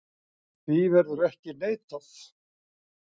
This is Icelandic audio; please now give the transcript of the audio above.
Því verður ekki neitað.